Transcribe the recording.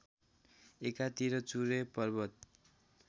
एकातिर चुरे पर्वत